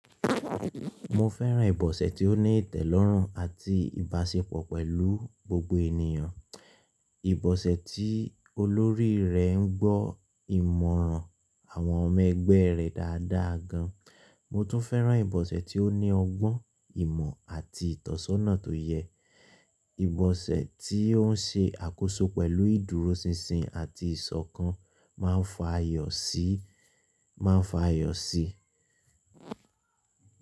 Mo fẹ́ràn ìbọ̀sẹ̀ tí ó ní ìtẹ̀lọ́rùn àti ìbáṣepọ̀ pẹ̀lú gbogbo ènìyàn, ìbọ̀sẹ̀ tí olórí rẹ̀ ń gbọ́ ìmọ̀ràn àwọn ọmọ ẹgbẹ́ rẹ̀ dáadáa gan. Mo tún fẹ́ràn ìbọ̀sẹ̀ tí ó ní ọgbọ́n ìmọ̀ àti ìtọ́sọ́nà tó yẹ, ìbọ̀sẹ̀ tí ó ń ṣe àkóso pẹ̀lú ìdúróṣinṣin àti ìṣọ̀kan máa ń fa ayọ̀ sí, máa ń fa ayọ̀ sí.